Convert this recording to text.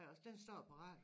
Også den står parat